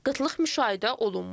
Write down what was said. Qıtlıq müşahidə olunmur.